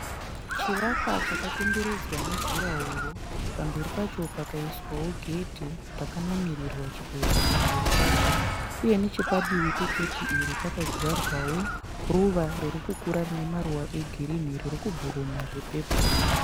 Chivakwa chakakomberedzwa nejurahoro pamberi pacho pakaiswawo gedhe rakanamirirwa chipepa pamberi pacho uye nechepadivi pegeghe iri pakadyarwawo ruva ririkukura rine maruva egirini ririkuburuma zvepepuru